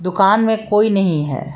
दुकान में कोई नहीं है।